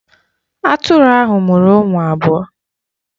Atụrụ ahụ mụrụ ụmụ abụọ.